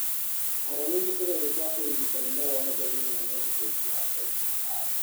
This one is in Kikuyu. Ũhoro wĩgiĩ kũgerio kwa ũrigitani no woneke thĩinĩ wa webusaiti ya NCI.